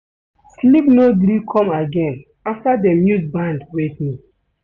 Sleep no gree come again after dem use band wake me.